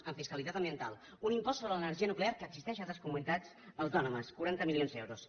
en fiscalitat ambiental un impost sobre l’energia nuclear que existeix a altres comunitats autònomes quaranta milions d’euros